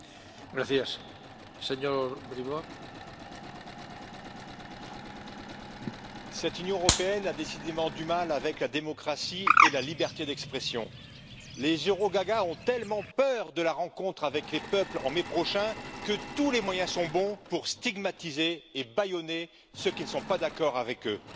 Monsieur le Président, cette Union européenne a décidément du mal avec la démocratie et la liberté d'expression. Les eurogagas ont tellement peur de la rencontre avec les peuples en mai prochain que tous les moyens sont bons pour stigmatiser et bâillonner ceux qui ne sont pas d'accord avec eux.